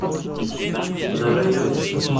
на районе